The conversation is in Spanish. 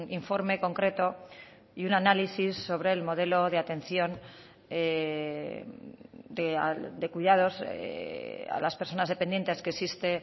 informe concreto y un análisis sobre el modelo de atención de cuidados a las personas dependientes que existe